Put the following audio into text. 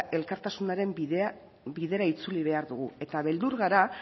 elkartasunaren bidera itzuli behar dugu eta beldur gara